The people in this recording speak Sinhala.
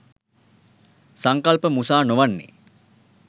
සංකල්ප මුසා නොවන්නේ